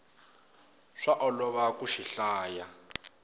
swa olova ku xi hlaya